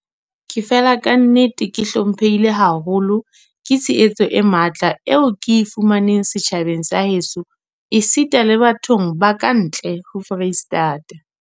Ke fela kannete ke hlomphehile haholo ke tshehetso e matla eo ke e fumaneng setjhabeng sa heso esita le bathong ba ka ntle ho Freistata.